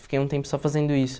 Fiquei um tempo só fazendo isso.